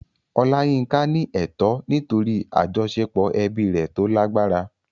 Olayinka ní ẹ̀tọ́ nítorí àjọṣepọ̀ ẹbí rẹ̀ tó lágbára.